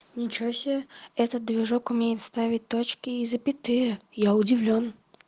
ничего себе этот движок умеет ставить точки и запятые я удивлён